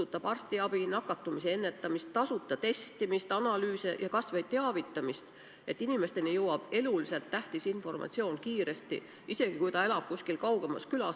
Ma pean silmas arstiabi, nakatumise ennetamist, tasuta testimist, analüüse ja kas või teavitamist, et inimesteni jõuaks eluliselt tähtis informatsioon kiiresti, isegi kui nad elavad kuskil kaugemas külas?